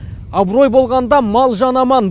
абырой болғанда мал жан аман